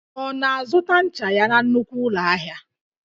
Ọ na-azụta ncha ya na nnukwu ụlọ ahịa?